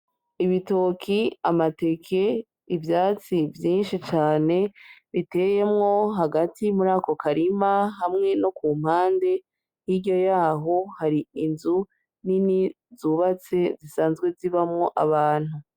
Ibitoki amateke ivyatsi vyinshi cane biteyemwo hagati muri ako karima hamwe no ku mpande niryo yaho hari inzu nini zubatse zisanzwe zibamwo abantu.